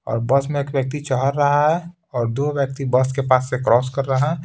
और बस में एक व्यक्ति चहर रहा है और दो व्यक्ति बस के पास से क्रॉस कर रहा है।